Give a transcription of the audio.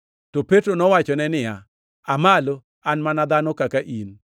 To Petro nowachone niya, “Aa malo, an mana dhano kaka in.”